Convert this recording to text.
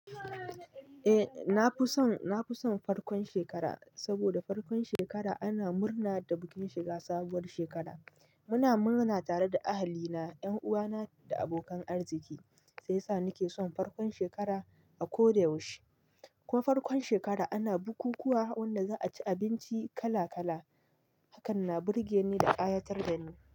Eh, nafi son farkon shekara saboda farkon shekara ana murna da bikin shiga sabuwar shekara. Muna murna tare da ahali na, 'yan uwana da abokan arziki sai sa nake son farkon shekara a ko da yaushe. Kuma farkon shekara ana bukukuwa wanda za a ci abinci kala kala. Hakan na burge ni da ƙayatar da ni.